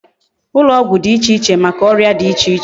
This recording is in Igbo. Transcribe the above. Ulo ogwu di iche iche Maka oria di iche iche